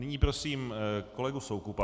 Nyní prosím kolegu Soukupa.